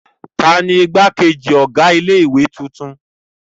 Ta ni ìgbákejì ọ̀gá ilé-ìwé tuntun?